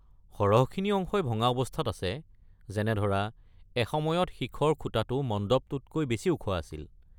সৰহখিনি অংশই ভঙা অৱস্থাত আছে, যেনে ধৰা এসময়ত শিখৰ খুঁটাটো মণ্ডপটোতকৈ বেছি ওখ আছিল।